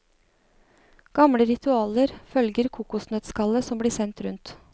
Gamle ritualer følger kokosnøttskallet som blir sendt rundt.